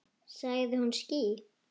Sagði hún ský?